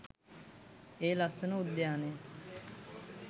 ඒ ලස්සන උද්‍යානය